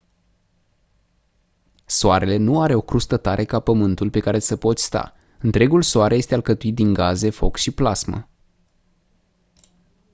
soarele nu are o crustă tare ca pământul pe care să poți sta întregul soare este alcătuit din gaze foc și plasmă